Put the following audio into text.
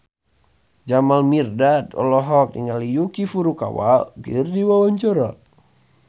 Jamal Mirdad olohok ningali Yuki Furukawa keur diwawancara